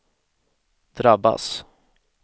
drabbas